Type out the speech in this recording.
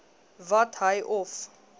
wat hy of